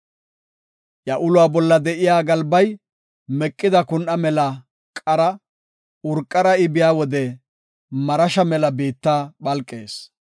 Iya uluwa bolla de7iya galbay meqida kun7a mela qara; urqara I biya wode marasha mela biitta phalqees.